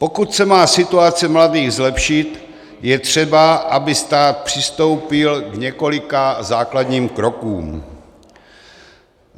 Pokud se má situace mladých zlepšit, je třeba, aby stát přistoupil k několika základním krokům.